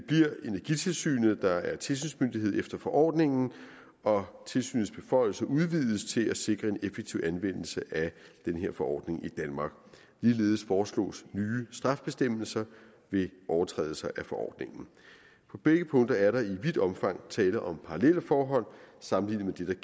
energitilsynet der bliver tilsynsmyndighed efter forordningen og tilsynets beføjelser udvides til at sikre en effektiv anvendelse af den her forordning i danmark ligeledes foreslås nye straffebestemmelser ved overtrædelse af forordningen på begge punkter er der i vidt omfang tale om parallelle forhold sammenlignet med